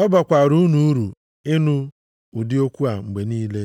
Ọ bakwaara unu uru ịnụ ụdị okwu a mgbe niile.